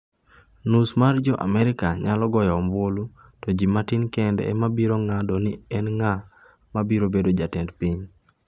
Nus mar Jo-Amerika nyalo goyo ombulu to gin matin kende ema biro ng’ado ni en ng’a ma biro bedo jatend piny?